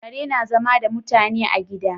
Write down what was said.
Kare na zama da mutane a gida